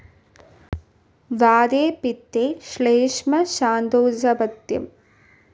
വാതേ പിത്തേ ശ്ളേഷ്മ ശാന്തൗചപഥ്യം